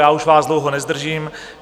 Já už vás dlouho nezdržím.